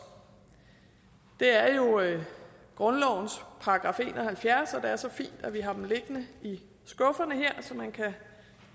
er jo grundlovens § en og halvfjerds og det er så fint at vi har den liggende i skufferne her så man kan